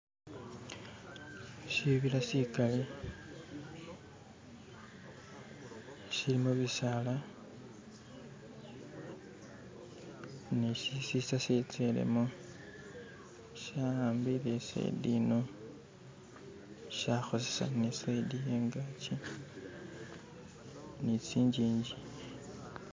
shibila shikali shilimu bisaala ni shisisa shetselimo shawambile isayidi ino shahozesa ni sayidi yeyangaki ni tsingingi